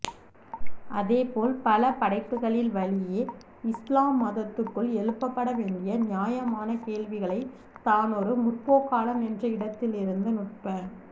அதேபோல் பல படைப்புகளின் வழியே இஸ்லாம் மதத்துக்குள் எழுப்பப்படவேண்டிய நியாயமான கேள்விகளை தானொரு முற்போக்காளன் என்ற இடத்திலிருந்து நுட்ப